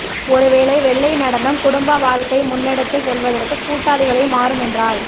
ஒருவேளை வெள்ளை நடனம் குடும்ப வாழ்க்கை முன்னெடுத்துச் செல்வதற்கு கூட்டாளிகளை மாறும் என்றால்